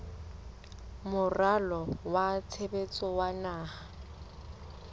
moralo wa tshebetso wa naha